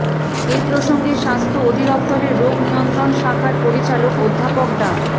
এ প্রসঙ্গে স্বাস্থ্য অধিদফতরের রোগ নিয়ন্ত্রণ শাখার পরিচালক অধ্যাপক ডা